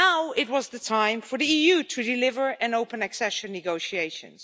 It was now time for the EU to deliver and to open accession negotiations.